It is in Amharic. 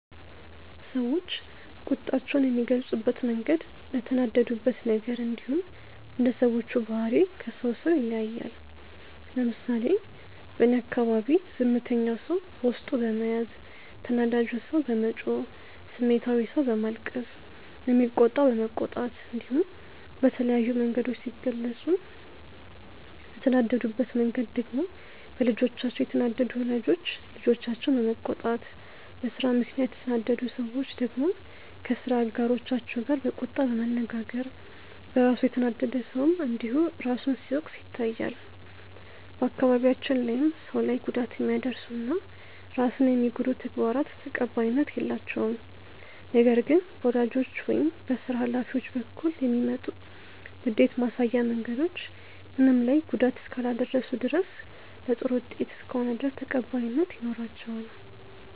ሰዎች ቁጣቸውን የሚገልጹበት መንገድ እንደተናደዱበት ነገር እንዲሁም እንደ ሰዎቹ ባህሪ ከሰው ሰው ይለያያል። ለምሳሌ በእኔ አካባቢ ዝምተኛው ሰው በውስጡ በመያዝ፣ ተናዳጁ ሰው በመጮህ፣ ስሜታዊው ሰው በማልቀስ፣ የሚቆጣው በመቆጣት እንዲሁም በተለያዩ መንገዶች ሲገልጹ፤ እንደተናደዱበት መንገድ ደግሞ በልጆቻቸው የተናደዱ ወላጆች ልጆቻቸውን በመቆጣት፣ በስራ ምክንያት የተናደዱ ሰዎች ደግሞ ከስራ አጋሮቻቸው ጋር በቁጣ በመነጋገር፣ በራሱ የተናደደ ሰውም እንዲሁ ራሱን ሲወቅስ ይታያል። በአካባቢያችን ላይም ሰው ላይ ጉዳት የሚያደርሱ እና ራስን የሚጎዱ ተግባራት ተቀባይነት የላቸውም። ነገር ግን በወላጆች ወይም በስራ ሀላፊዎች በኩል የሚመጡ ንዴት ማሳያ መንገዶች ምንም ላይ ጉዳት እስካላደረሱ ድረስ እና ለጥሩ ውጤት እስከሆነ ድረስ ተቀባይነት ይኖራቸዋል።